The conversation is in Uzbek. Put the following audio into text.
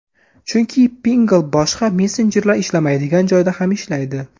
Chunki Pinngle boshqa messenjerlar ishlamaydigan joyda ham ishlaydi!